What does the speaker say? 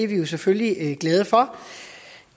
vi selvfølgelig glade for